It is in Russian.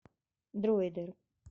дроидер